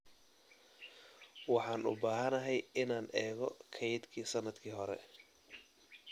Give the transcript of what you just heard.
Waxaan u baahanahay inaan eego kaydkii sannadkii hore.